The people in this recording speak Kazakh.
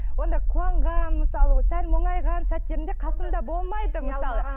онда қуанған мысалы сәл мұңайған сәттерімде қасымда болмайды мысалы